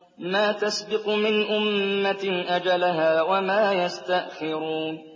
مَّا تَسْبِقُ مِنْ أُمَّةٍ أَجَلَهَا وَمَا يَسْتَأْخِرُونَ